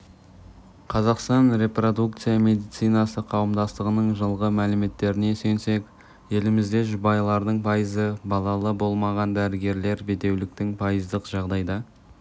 қазақстан репродукция медицинасы қауымдастығының жылғы мәліметтеріне сүйенсек елімізде жұбайлардың пайызы балалы болмаған дәрігерлер бедеуліктің пайыздық жағдайда